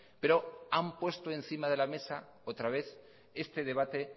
pero han puesto encima de la mesa otra vez este debate